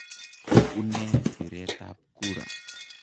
U nee biretab kura?